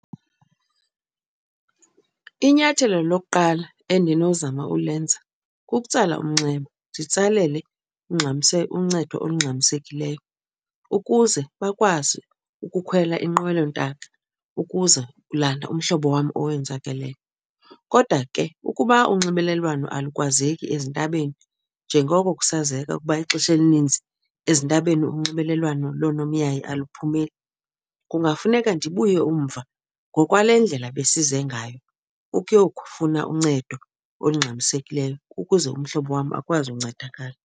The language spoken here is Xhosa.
Inyathelo lokuqala endinozama ulenza kukutsala umnxeba nditsalele uncedo olungxamisekileyo ukuze bakwazi ukukhwela inqwelontaka ukuza kulanda umhlobo wam owenzakeleyo. Kodwa ke ukuba unxibelelwano alukwazeki ezintabeni njengoko kusazeka ukuba ixesha elininzi ezintabeni unxibelelwano loonomyayi aliphumeli kungafuneka ndibuye umva ngokwale ndlela besize ngayo ukuyokufuna uncedo olungxamisekileyo ukuze umhlobo wam akwazi uncedakala.